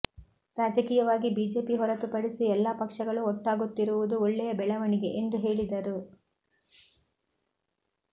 ರಾಜಕೀಯವಾಗಿ ಬಿಜೆಪಿ ಹೊರತು ಪಡಿಸಿ ಎಲ್ಲಾ ಪಕ್ಷಗಳು ಒಟ್ಟಾಗುತ್ತಿರುವುದು ಒಳ್ಳೆಯ ಬೆಳವಣಿಗೆ ಎಂದು ಹೇಳಿದರು